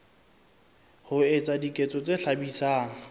ho etsa diketso tse hlabisang